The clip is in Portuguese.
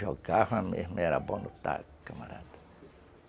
Jogava mesmo, era bom no taco, camarada.